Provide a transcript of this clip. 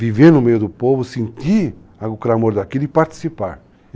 Viver no meio do povo, sentir o clamor daquilo e participar.